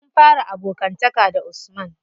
Mun fara abokanta da usman.